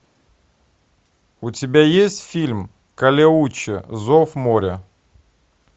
у тебя есть фильм калеуче зов моря